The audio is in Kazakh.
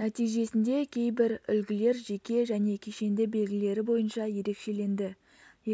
нәтижесінде кейбір үлгілер жеке және кешенді белгілері бойынша ерекшеленді